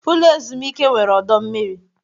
Ụlọ ezumike nwere ọdọ mmiri.